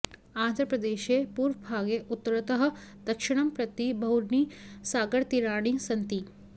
आन्ध्रप्रदेशे पूर्वभागे उत्तरतः दक्षिणं प्रति बहूनि सागरतीराणि सन्ति